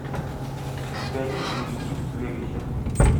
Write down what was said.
у тебя есть девичник в вегасе